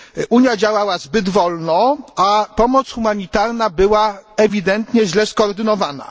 Unia działała zbyt wolno, a pomoc humanitarna była ewidentnie źle skoordynowana.